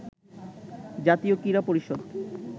জাতীয় ক্রীড়া পরিষদ